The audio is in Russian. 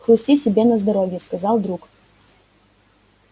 хрусти себе на здоровье сказал друг